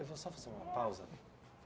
Eu vou só fazer uma pausa.